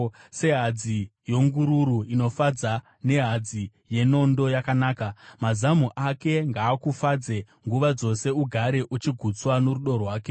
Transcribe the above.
Sehadzi yengururu inofadza, nehadzi yenondo yakanaka, mazamu ake ngaakufadze nguva dzose, ugare uchigutswa norudo rwake.